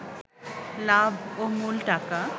লাভ ও মূল টাকা